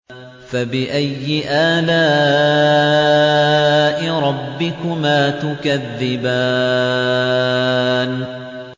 فَبِأَيِّ آلَاءِ رَبِّكُمَا تُكَذِّبَانِ